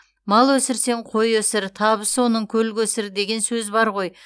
тал өсірсең қой өсір табысы оның көл көсір деген сөз бар ғой